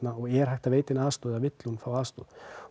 er hægt að veita henni aðstoð eða vill hún aðstoð